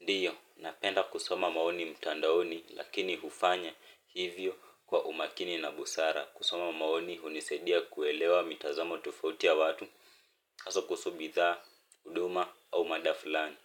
Ndiyo, napenda kusoma maoni mtandaoni lakini hufanya hivyo kwa umakini na busara kusoma maoni hunisaidia kuelewa mitazamo tofauti ya watu haswa kuhusu bidhaa, huduma au mada fulani.